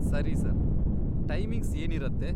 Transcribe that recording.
ಸರಿ, sir. Timings ಏನಿರತ್ತೆ?